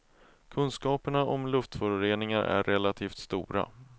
Kunskaperna om luftföroreningar är relativt stora.